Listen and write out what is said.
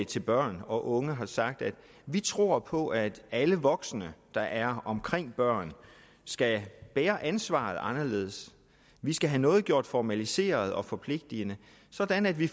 til børn og unge har sagt at vi tror på at alle voksne der er omkring børn skal bære ansvaret anderledes vi skal have noget gjort formaliseret og forpligtende sådan at vi